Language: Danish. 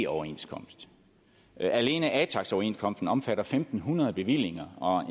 overenskomst alene atax overenskomsten omfatter fem hundrede bevillinger og